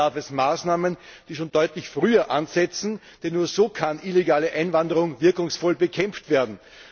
Vielmehr bedarf es Maßnahmen, die schon deutlich früher ansetzen, denn nur so kann illegale Einwanderung wirkungsvoll bekämpft werden.